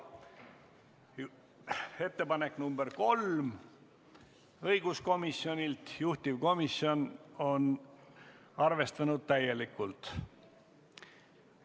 Ettepanek nr 3 on õiguskomisjonilt, juhtivkomisjon on arvestanud seda täielikult.